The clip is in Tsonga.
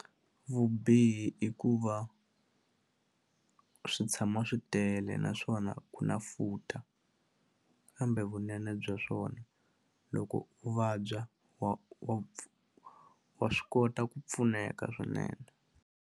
Vubihi i ku va swi tshama swi tele naswona ku na futa kambe vunene bya swona loko u vabya wa wa wa swi kota ku pfuneka swinene.